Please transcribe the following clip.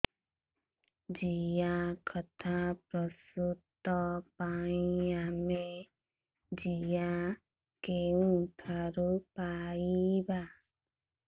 ଜିଆଖତ ପ୍ରସ୍ତୁତ ପାଇଁ ଆମେ ଜିଆ କେଉଁଠାରୁ ପାଈବା